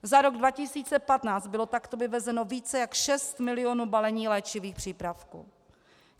Za rok 2015 bylo takto vyvezeno více jak šest milionů balení léčivých přípravků.